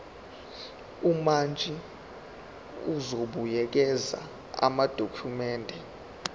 umantshi uzobuyekeza amadokhumende